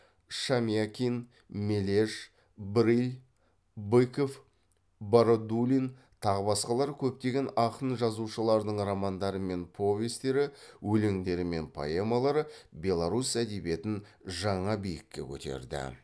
шамякин мележ брыль быков бородулин тағы басқалары көптеген ақын жазушылардың романдары мен повестері өлеңдері мен поэмалары беларусь әдебиетін жаңа биікке көтерді